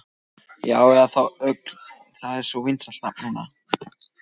Já, eða þá Ögn, það er svo vinsælt nafn núna.